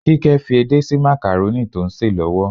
Kíkẹ́ fi edé sí makarónì tó ń sè lọ́wọ́.